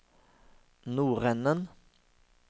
nordenden